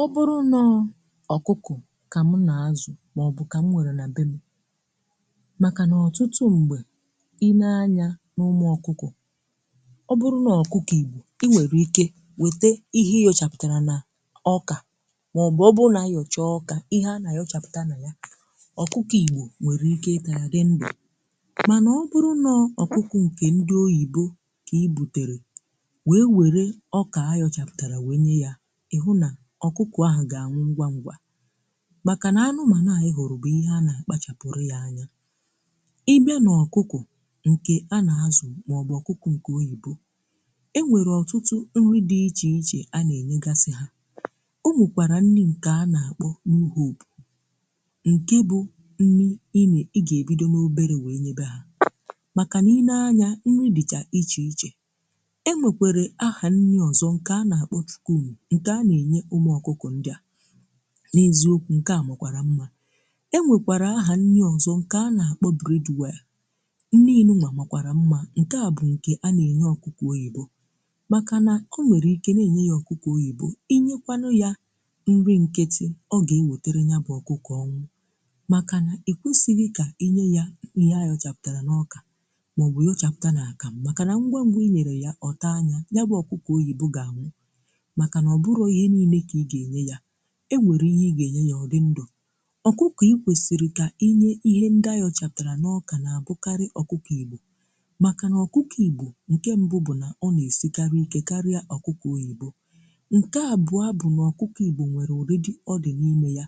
Ọ bụrụ nọ ọkụkụ̀ ka m na-azụ̀ maọ̀bụ̀ ka m nwere na bee m. Makana ọtụtụ ṁgbe i nee anya n’ụmụ ọkụkụ̀, ọ bụrụ̀ n’ọkụkọ̀ igbọ̀ i nwere ike wete ihe iyọchapụtara na ọka maọ̀bụ̀ ọ bụ̀ na-yọcha ọka ihe ana ayọchapụta na ya ọkụkọ̀ igbọ̀ nwere ike ịta ya dị ndụ. Mana ọ bụrụ nọ̀ ọkụkụ̀ nke ndị ọyibọ ka i bụtere wee were ọka ayọchapụtara wee nye ya ihụ na ọkụkụ ahụ ga-anwụ ngwa ngwa. Maka na anụmanụ a i hụ̀rụ̀ bụ̀ ihe a na-akpachapụrụ ya anya. Ị bịa n’ọkụkụ̀ nke a na-azụ̀ maọbụ̀ ọkụkụ̀ nke ọyìbọ, e nwere ọtụtụ nri dị̇ iche iche a na-enyegasị ha ọnwekwara nni nke a na-akpọ nke bụ̀ nni ine ị ga-ebidọ n’ọbere wee nyebe ha, maka na i nee anya nri dịcha iche iche. E nwekwere aha nni ọzọ̀ nke a na-akpọ nke a na-enye ụmụ ọkụkụ ndia. N’eziọkwụ nke a makwara mma. E nwekwara aha nni ọzọ̀ nke a na-akpọ̀ breadware nni nụ nwa makwara mma nke a bụ̀ nke a na-enye ọkụkụ ọyibọ maka na ọ nwere ike na-enye ya ọkụkụ ọyibọ i nyekwanụ̀ ya nrì nkitì ọ ga-ewetere ya bụ̀ ọkụkọ̀ ọnwụ̀ maka na ekwesighi ka inye ya ihe ayọchapụtara na ọka maọ̀bụ̀ yọchapụ̀ta na akam maka na ngwa ngwa inyere ya, ọta anya ya bụ̀ ọkụkọ̀ ọyìbọ ga-anwụ̀, maka na ọbụrọ ihe niine ka i ga enye ya. E nwerụ ihe ị ga-enye ya ọ dị ndụ. Ọkụkọ i kwesiri ka i nye ihe ndị ayochaputara na ọka na-abụkarị ọkụkọ igbọ maka na ọkụkọ igbọ nke mbụ bụ na ọ na-esikarị ike karịa ọkụkọ ọyibọ nke abụa bụ n’ọkụkọ igbọ nwere ọridi ọ dị n’ime ya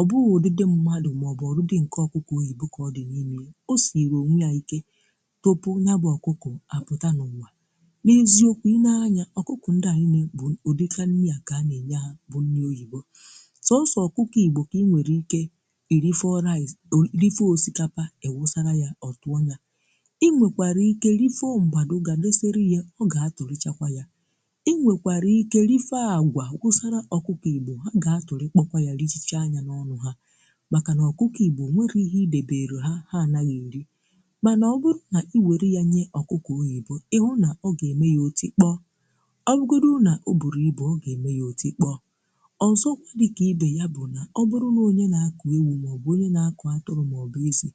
ọ bụghụ ụdịdị mmadụ maọbụ ọdịdị nke ọkụkọ ọyibọ ka ọ dị n’ime ya. Ọ siere onwe ya ike tụpụ nyabụ ọkụkụ a pụta na ụwa. N’eziọkwụ ị na-anya ọkụkụ ndị a niine bụ ụdika nni a ka ana enye ha bu nni oyibọ. Sọsọ̀ ọkụkọ̀ igbọ̀ ka i nwere ike iri fọo rice o iri fọ̀ ọsikapa i wụsara ya ọtụọ̀ nya, i nwekwara ike rifọ̀ mgbadù ga dọsere ya ọ ga-atụ̀rịchakwa ya i nwekwara ike rifọ agwa wụsara ọkụkọ̀lụ igbọ̀ ha ga-atụ̀rị̀ kpọkwa ya richa chaa nya n’ọnụ̀ ha maka n’ọkụkụ igbọ̀ ọ nwerọ ihe idebere ha, ha anaghị̀ erì mana ọ bụrụ̀ na i were ya nye ọkụkọ̀ ọyibọ̀ ịhụ̀ na ọ ga-eme ya ọtì kpọọ. Ọbụgodiri Na ọ bụrụ ibụ, oga eme ya ôti kpọọ. Ọzọkwa dịka ibe ya bụ̀ na ọ bụrụ̀ na ọnye na-akụ̀ ewụ maọ̀bụ̀ ọnye na-akụ̀ atụrụ̀ maọ̀bụ̀ ezi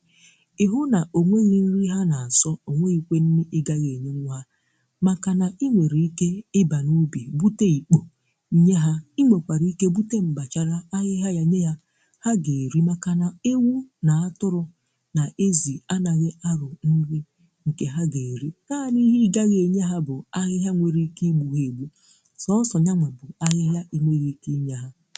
ihụ na ọ nweghì nrì ha na-asọ̀ ọ nweghìkwe nrì ịgaghị̀ enye nwụ ha, maka na i nwere ike ịba n’ụbì bụte ikpọ̀ nye ha i nwekwara ike bụte mgbachara ahịhịa ya nye ya ha ga-erì maka na ewụ na atụrụ̀ na ezi anaghị̀ arụ̀ nrì nke ha ga-erì. Naani ihe igaghị̀ enye ha bụ̀ ahịhịa nwere ike igbụ ha egbụ, sọsọ nyanwabu ahihia inweghi ike inye ha.